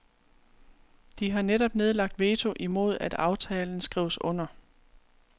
De har netop nedlagt veto imod at aftalen skrives under.